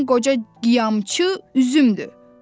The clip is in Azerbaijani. Yəqin qoca qiyamçı Üzümdür.